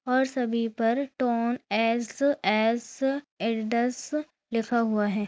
और सभी पर टोन एस_एस एडीडास लिखा हुआ है।